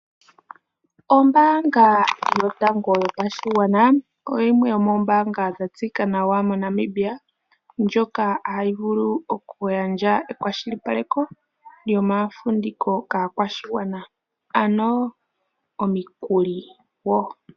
Ombaanga yotango yopashigwana oyo yimwe yomoombaanga dha tseyika nawa mo Namibia ndjoka hayi vulu okugandja ekwashilipaleko lyomafumviko kaakwashigwana, ano omikuli woo.